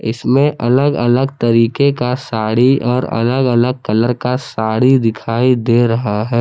इसमें अलग अलग तरीके का साड़ी और अलग अलग कलर का साड़ी दिखाई दे रहा है।